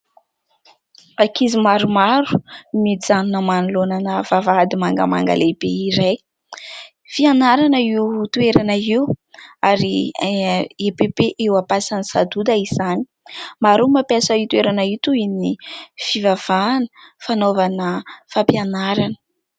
Ankizy maromaro mijanona manoloana ana vavahady mangamanga lehibe iray. Fianarana io toerana io, ary EPP eo Ampasan'i Sadoda izany. Maro ny mampiasa io toerana io toy ny fivavahana, fanaovana fampianarana.